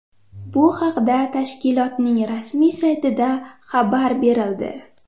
Bu haqda tashkilotning rasmiy saytida xabar berildi.